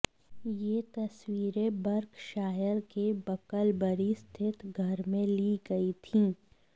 ये तस्वीरें बर्कशायर के बकलबरी स्थित घर में ली गई थीं